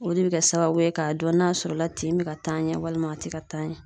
O de be kɛ sababu ye k'a dɔn n'a sɔrɔ la tin be ka taa ɲɛ walima a te ka taa ɲɛ